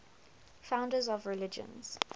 founders of religions